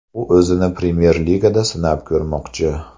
U o‘zini Premyer Ligada sinab ko‘rmoqchi.